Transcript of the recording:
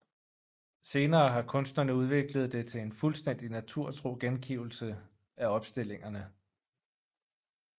Senere har kunstnerne udviklet det til en fuldstændig naturtro gengivelse af opstillingerne